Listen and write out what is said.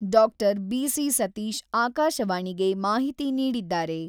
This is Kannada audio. ಡಾಕ್ಟರ್ ಬಿ.ಸಿ.ಸತೀಶ್ ಆಕಾಶವಾಣಿಗೆ ಮಾಹಿತಿ ನೀಡಿದ್ದಾರೆ.